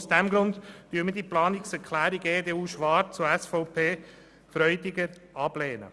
Aus diesem Grund lehnen wir die Planungserklärungen EDU/Schwarz und SVP/Freudiger ab.